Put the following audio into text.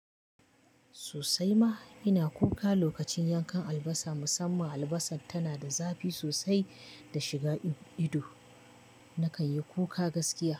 Sosai ma ina kuka lokacin yankan albasa, musamman albasa tana da zafi sosai da shiga ido. Na kan yi kuka gaskiya.